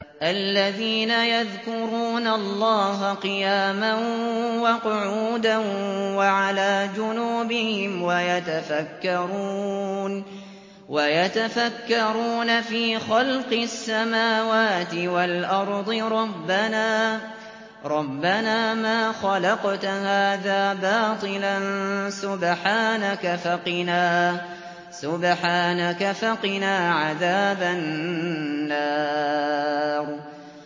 الَّذِينَ يَذْكُرُونَ اللَّهَ قِيَامًا وَقُعُودًا وَعَلَىٰ جُنُوبِهِمْ وَيَتَفَكَّرُونَ فِي خَلْقِ السَّمَاوَاتِ وَالْأَرْضِ رَبَّنَا مَا خَلَقْتَ هَٰذَا بَاطِلًا سُبْحَانَكَ فَقِنَا عَذَابَ النَّارِ